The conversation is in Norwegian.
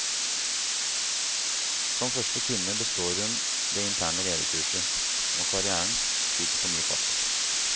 Som første kvinne består hun det interne lederkurset, og karrièren skyter på ny fart.